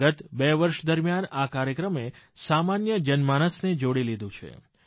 ગત બે વર્ષ દરમિયાન આ કાર્યક્રમે સામાન્ય જનમાનસને જોડી લીધું છે